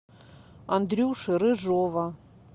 андрюши рыжова